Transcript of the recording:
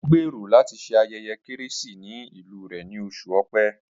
Ó gbèrò láti se ayẹyẹ Kérésìmesì ní ìlú rẹ ní oṣù Ọ̀pẹ